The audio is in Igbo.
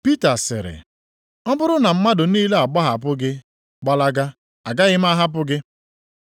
Pita sịrị, “Ọ bụrụ na mmadụ niile agbahapụ gị gbalaga, agaghị m ahapụ gị.”